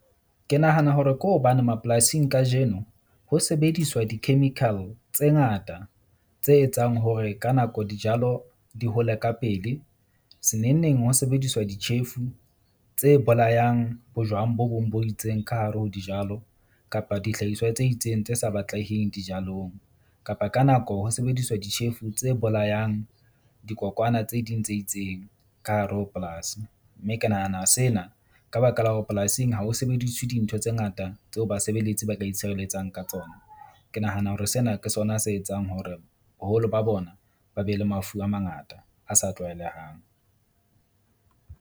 Ke nahana hore ke hobane mapolasing kajeno ho sebediswa di-chemical tse ngata, tse etsang hore ka nako dijalo di hole ka pele. Se neng neng ho sebediswa ditjhefu tse bolayang bojwang bo bong bo itseng ka hare ho dijalo kapa dihlahiswa tse itseng tse sa batleheng dijalong, kapa ka nako ho sebediswa ditjhefu tse bolayang dikokwana tse ding tse itseng ka hare ho polasi. Mme ke nahana sena ka baka la hore polasing ha ho sebediswe dintho tse ngata tseo basebeletsi ba ka itshireletsa ka tsona. Ke nahana hore sena ke sona se etsang hore boholo ba bona ba be le mafu a mangata a sa tlwaelehang.